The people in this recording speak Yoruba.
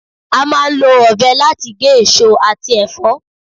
À ń lọ ọ̀bẹ láti gé eso ati ẹfọ